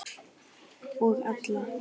Og alla.